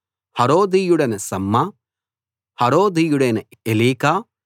హరోదీయుడైన Shammah హరోదీయుడైన Elika